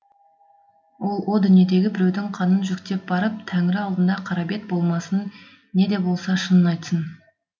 ол о дүниеге біреудің қанын жүктеп барып тәнірі алдында қара бет болмасын не де болса шынын айтсын